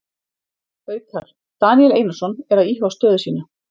Haukar: Daníel Einarsson er að íhuga stöðu sína.